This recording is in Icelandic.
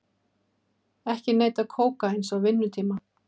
Ekki neyta kókaíns á vinnutíma